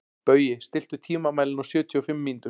Baui, stilltu tímamælinn á sjötíu og fimm mínútur.